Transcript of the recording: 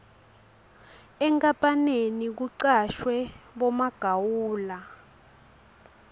enkapaneni kucashwe bomagawula